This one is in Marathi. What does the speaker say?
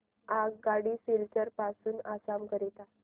आगगाडी सिलचर पासून आसाम करीता